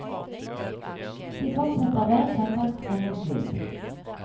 De fortsetter hver søndag frem mot jul.